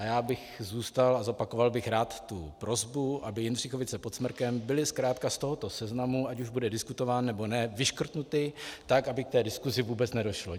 A já bych zůstal a zopakoval bych rád tu prosbu, aby Jindřichovice pod Smrkem byly zkrátka z tohoto seznamu, ať už bude diskutován, nebo ne, vyškrtnuty, tak aby k té diskusi vůbec nedošlo.